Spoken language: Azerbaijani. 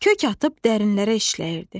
Kök atıb dərinlərə işləyirdi.